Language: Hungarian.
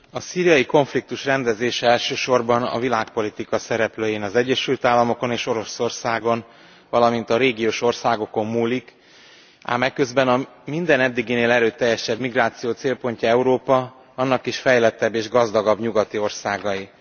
Elnök Asszony, a szíriai konfliktus rendezése elsősorban a világpolitika szereplőin, az Egyesült Államokon és Oroszországon, valamint a régiós országokon múlik. Ám eközben a minden eddiginél erőteljesebb migráció célpontja Európa, annak is fejlettebb és gazdagabb nyugati országai.